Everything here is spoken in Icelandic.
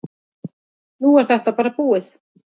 Nú er þetta bara búið.